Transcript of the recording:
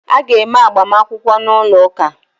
Ị ga eme -agbamakwụkwọ n’ụlọ ụka